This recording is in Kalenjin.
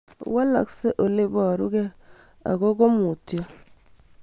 Walaksei ole iparukei ako komutyo